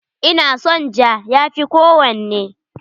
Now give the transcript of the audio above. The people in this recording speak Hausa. Ina son ja, ya fi kowanne.